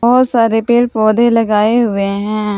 बहोत सारे पेड़ पौधे लगाए हुए हैं।